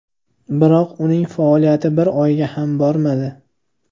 Biroq uning faoliyati bir oyga ham bormadi.